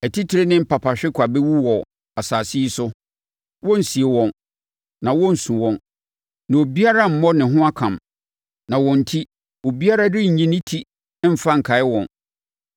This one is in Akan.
“Atitire ne mpapahwekwaa bɛwu wɔ asase yi so. Wɔrensie wɔn, na wɔrensu wɔn, na obiara remmɔ ne ho akam, na wɔn enti, obiara renyi ne ti mfa nkae wɔn.